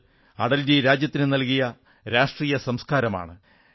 അത് അടൽജി രാജ്യത്തിനു നല്കിയ രാഷ്ട്രീയ സംസ്കാരമാണ്